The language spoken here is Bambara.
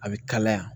A bɛ kalaya